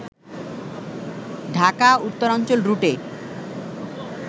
ঢাকা-উত্তরাঞ্চল রুটে